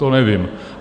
To nevím.